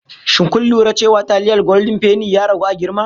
Shin kun lura cewa taliyar goldin feni ya ragu a girma?